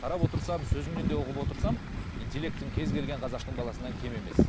қарап отырсам сөзіңнен де ұғып отырсам интеллектің кез келген қазақтың баласынан кем емес